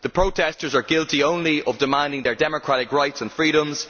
The protestors are guilty only of demanding their democratic rights and freedoms.